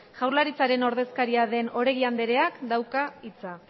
jaurlaritzaren ordezkaria den oregi andereak dauka hitza